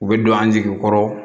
U bɛ don an jigi kɔrɔ